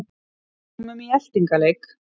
Komum í eltingaleik